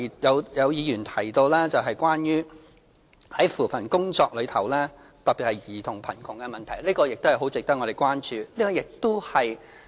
有議員提到其他的扶貧工作，特別是兒童貧窮的問題，這方面亦很值得我們關注。